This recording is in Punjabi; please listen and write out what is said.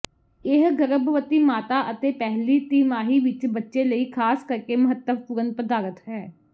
ਇਹ ਗਰਭਵਤੀ ਮਾਤਾ ਅਤੇ ਪਹਿਲੀ ਤਿਮਾਹੀ ਵਿੱਚ ਬੱਚੇ ਲਈ ਖਾਸ ਕਰਕੇ ਮਹੱਤਵਪੂਰਨ ਪਦਾਰਥ ਹੈ